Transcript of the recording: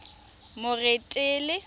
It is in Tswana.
moretele